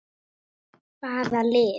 Hvaða liði?